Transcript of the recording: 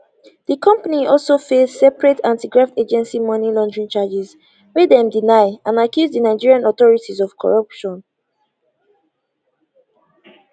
di company also face separate antigraft agency money laundering charges wey dem deny and accuse di nigerian authorities of corruption